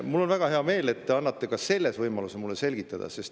Mul on väga hea meel, et te annate mulle võimaluse ka seda selgitada.